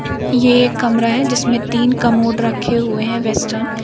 ये एक कमरा है जिसमें तीन कमोड रखे हुए है वेस्टर्न ।